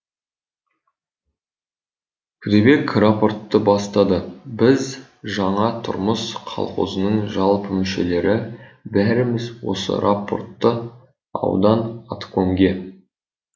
күдебек рапортты бастады біз жаңа тұрмыс қалқозының жалпы мүшелері бәріміз осы рапортты аудан аткомге